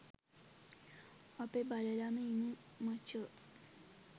අපි බලලම ඉමු මචෝ